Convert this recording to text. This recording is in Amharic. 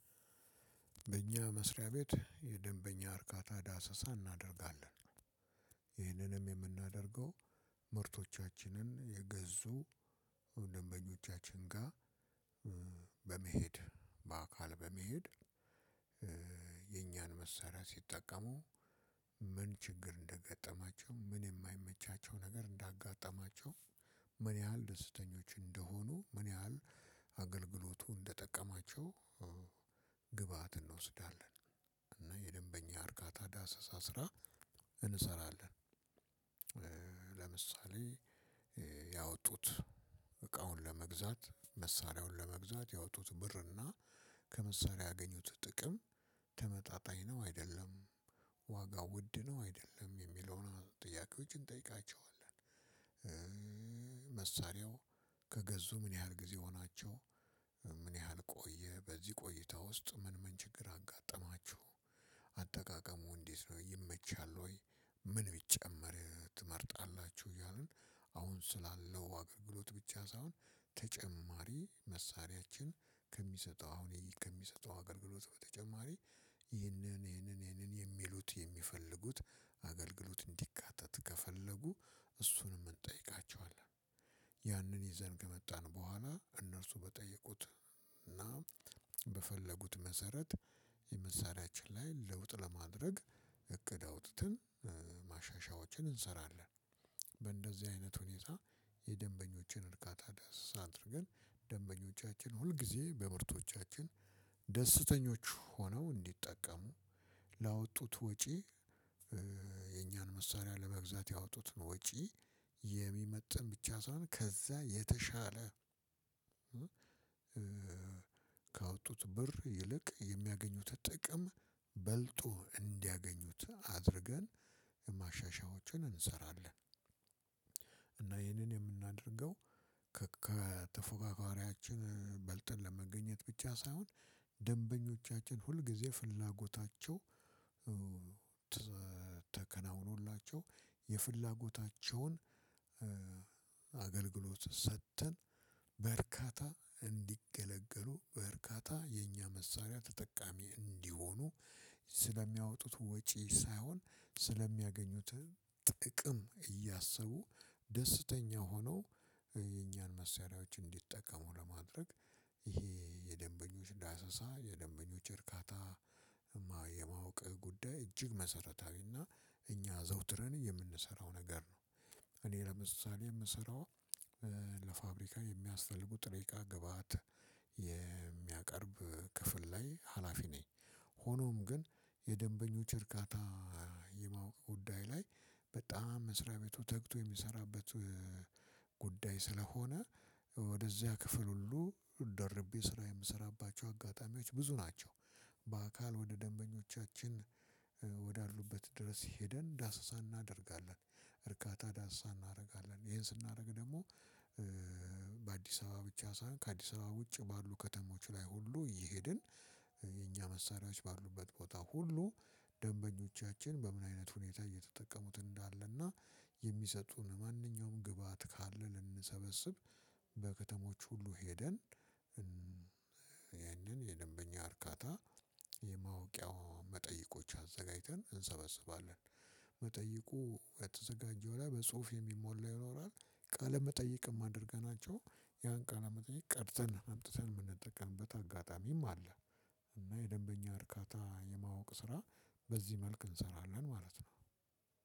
በእኛ መስሪያ ቤት የደንበኛ እርካታ ዳሰሳ እናደርጋለን። ይህንንም የምናደርገው ምርቶቻችንን የገዙ ደንበኞቻችን ጋር በመሄድ በአካል በመሄድ። የኛን መሳሪያ ሲጠቀሙ ምን ችግር እንደገጠማቸው። ምን የማይመቻቸው ነገር እንዳጋጠማቸው። ምን ያህል ደስተኞች እንደሆኑ፣ ምን ያህል አገልግሎቱ እንደጠቀማቸው- ግብአት እንወስዳለን እና የደንበኛ እርካታ ዳሰስ ስራ እንሰራለን። ለምሳሌ ያወጡት እቃውን ለመግዛት መሳሪያውን ለመግዛት ያወጡት ብርና ከመሳሪያ ያገኙት ጥቅም ተመጣጣኝ ነው አይደለም። ዋጋው ውድ ነው አይደለም። የሚለውን ጥያቄዎችን እንጠይቃቸዋለን። መሳሪያው ከገዙ ምን ያህል ጊዜ ሆናችሁ? ምን ያህል ቆየ? በዚህ ቆይታ ውስጥ ምን ምን ችግር አጋተማችሁ? አጠቃቀሙ እንዴት ነው ይመቻል ወይ? ምን ቢጨመር ትመርጣላችሁ? እያልን አሁን ስላለው አገልግሎት ብቻ ሳይሆን ተጨማሪ መሳሪያችን ከሚሰጠው አሁን ከሚሰጠው አገልግሎት በተጨማሪ- ይህንን ይህንን ይህንን የሚሉት የሚፈልጉት አገልግሎት አንድካተት ከፈለጉ እሱንም እንተይቃቸዋለን። ያንን ይዘን ከመጣን በኋላ እነርሱ በጠየቁት እና በፈለጉት መሰረት የመሳሪያችን ላይ ለውጥ ለማድረግ እቅድ አውጥተን ማሻሻያዎችን እንሰራለን። በእንደዚህ አይነት ሁኔታ የደንበኞችን እርካታ ዳሰሳ አድርገን ደንበኞቻችን ሁልጊዜ በምርቶቻችን ደስተኞች ሆነው እንዲጠቀሙ ላወጡት ወጪ- የኛን መሳሪያ ለመግዛት ያወጡትን ወጪ የሚመጥን ብቻ ሳይሆን ከዛ የተሻለ- ካወጡት ብር ይልቅ የሚያገኙት ጥቅም በልጦ እንዲያገኙት አድርገን ማሻሻያዎችን እንሰራለን። እና ይህንን የምናደርገው ከተፎካካሪያችን በልጠን ለመገኘት ብቻ ሳይሆን ደንበኞቻችን ሁልጊዜ ፍላጎታቸው- ተከናውኖላቸው የፍላጎታቸውን አገልግሎት ሰጥተን በርካታ እንዲገለገሉ በርካታ የኛ መሳሪያ ተጠቃሚ እንዲሆኑ- ስለሚያወጡት ወጪ ሳይሆን ስለሚያገኙት ጥቅም እያሰቡ ደስተኛ ሆነው የኛን መሳሪያዎች እንዲጠቀሙ ለማድረግ- ይሄ የደንበኞች ዳሰሳ የደንበኞች እርካታ የማወቅ ጉዳይ እጅግ መሰረታዊና እኛ ዘውትረን የምንሰራው ነገር ነው። እኔ ለምሳሌ የምሰራው ለፋብሪካ የሚያስፈልጉ ጥሬ ግብአት የሚያቀርብ ክፍል ላይ ሀላፊ ነኝ። ሆኖም ግን የደንበኞች እርካታ የማወቅ ጉዳይ ላይ በጣም መስሪያ ቤቱ ተግቶ የሚሰራበት ጉዳይ ስለሆነ ወደዚያ ክፍል ሁሉ ደርቤ ስራ የምሰራባቸው አጋጣሚዎች ብዙ ናቸው። በአካል ወደ ደንበኞቻችን ወዳሉበት ድረስ ሄደን ዳሰሳ እናደርጋለን። እርካታ ዳሰሳ እናደርጋለን። ይሄን ስናደርግ ደግሞ- አበባ ብቻ ሳይሆን ከአዲስ አበባ ውጭ ባሉ ከተሞች ላይ ሁሉ እሄድን- የኛ መሳሪያዎች ባሉበት ቦታ ሁሉ ደንበኞቻችን በምን አይነት ሁኔታ እየተጠቀሙት እንዳለና የሚሰጡን ማንኛውም ግብአት ካለ ልንሰበስብ- በከተሞች ሁሉ ሄደን ይህንን የደንበኛ እርካታ የማውቂያዋ መጠይቆች አዘጋጅተን እንሰበስባለን። መጠይቁ የተዘጋጀው ላይ በጽሁፍ የሚሞላ ይኖራል። ቃል መጠየቅም አድርገናቸው ያን ቃል መጠየቅ ቀድተን አምጥተን የምንጠቀምበት አጋጣሚም አለ። እና የደንበኛ እርካታ የማወቅ ስራ በዚህ መልክ እንሰራለን ማለት ነው።